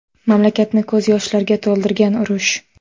Mamlakatni ko‘z yoshlarga to‘ldirgan urush.